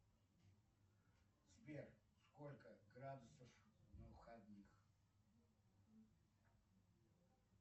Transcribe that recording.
сбер сколько градусов на выходных